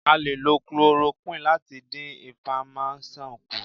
A lè lo Chloroquine láti dín inflamasion kù.